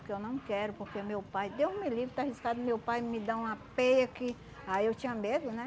Porque eu não quero, porque meu pai... Deus me livre, tá arriscado meu pai me dá uma peia que... Aí eu tinha medo, né?